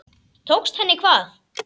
Tókst henni hvað?